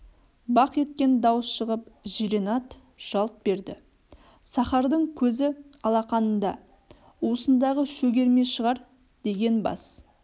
бақ еткен дауыс шығып жирен ат жалт берді сахардың көзі алақанында уысындағы шөгерме шығар деген бас